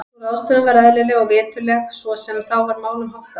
Sú ráðstöfun var eðlileg og viturleg svo sem þá var málum háttað.